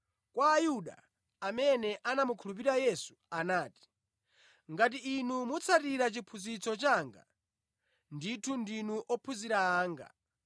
Kwa Ayuda amene anamukhulupirira, Yesu anati, “Ngati inu mutsatira chiphunzitso changa, ndithu ndinu ophunzira anga.